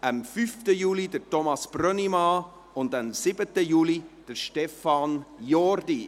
am 5. Juli Thomas Brönnimann und am 7. Juli Stefan Jordi.